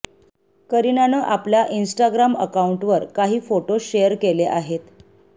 करीनानं आपल्या इन्स्टाग्राम अकाऊंटवर काही फोटो शेअर केले आहेत